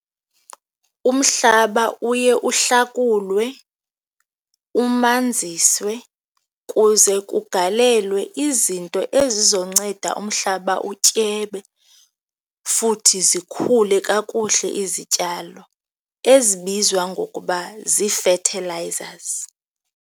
Umhlaba uye uhlakulwe, umaneziswe kuze kugalelwe izinto ezizonceda umhlaba utyebe futhi zikhule kakuhle izityalo ezibizwa ngokuba zii-fertilizers.